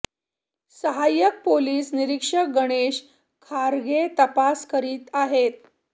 सहाय्यक पोलीस निरीक्षक गणेश खारगे तपास करीत आहेत